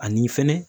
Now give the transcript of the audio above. Ani fɛnɛ